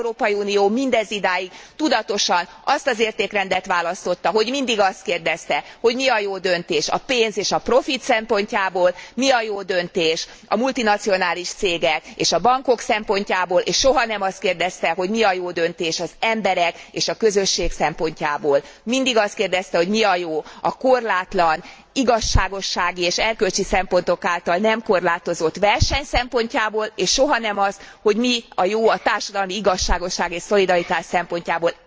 Az Európai Unió mindezidáig tudatosan azt az értékrendet választotta, hogy mindig azt kérdezte, hogy mi a jó döntés a pénz és a profit szempontjából, mi a jó döntés a multinacionális cégek és a bankok szempontjából, és soha nem azt kérdezte, hogy mi a jó döntés az emberek és a közösség szempontjából. Mindig azt kérdezte, hogy mi a jó a korlátlan igazságossági és erkölcsi szempontok által nem korlátozott verseny szempontjából, és soha nem azt, hogy mi a jó a társadalmi igazságosság és szolidaritás szempontjából.